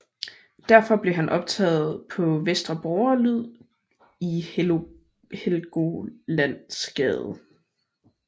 Derfra blev han optaget på Vestre Borgerdyd i Helgolandsgade